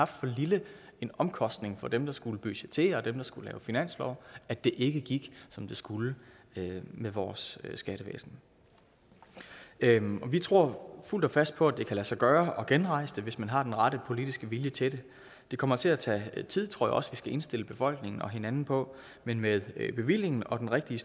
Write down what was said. for lille en omkostning for dem der skulle budgettere og dem der skulle lave finanslov at det ikke gik som det skulle med vores skattevæsen vi tror fuldt og fast på at det kan lade sig gøre at genrejse det hvis man har den rette politiske vilje til det det kommer til at tage tid tror jeg også vi skal indstille befolkningen og hinanden på men med bevillingen og den rigtige